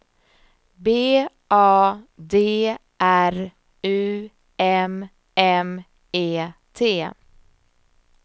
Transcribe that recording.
B A D R U M M E T